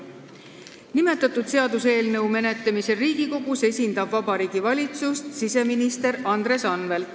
Nimetatud seaduseelnõu menetlemisel Riigikogus esindab Vabariigi Valitsust siseminister Andres Anvelt.